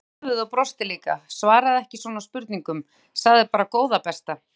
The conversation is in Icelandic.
Ég hristi höfuðið og brosti líka, svaraði ekki svona spurningum, sagði bara góða besta!